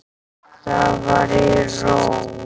Það var í Róm.